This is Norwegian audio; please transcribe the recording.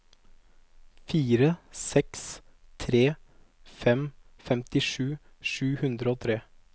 fire seks tre fem femtisju sju hundre og tre